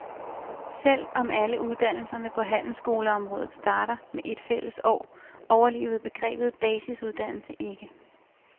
Selv om alle uddannelserne på handelsskoleområdet starter med et fælles år, overlevede begrebet basisuddannelse ikke.